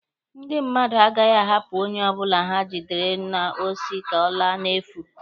Ndị mmadụ agaghị ahapụ onye ọbụla ha gidere n'osi ka ọ laa n'efu